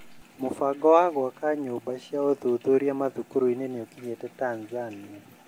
Mũbango wa gwaka nyũmba cia ũthuthuria mathũkũrũinĩ nĩukinyĩte Tanzania?